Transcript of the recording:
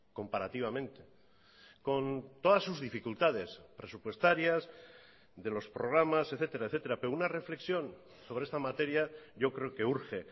comparativamente con todas sus dificultades presupuestarias de los programas etcétera etcétera pero una reflexión sobre esta materia yo creo que urge